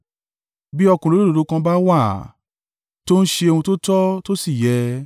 “Bí ọkùnrin olódodo kan bá wà, tó ń ṣe ohun tó tọ́, tó sì yẹ